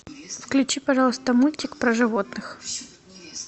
включи пожалуйста мультик про животных